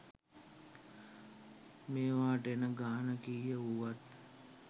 මේවාට එන ගාන කීය වුවත්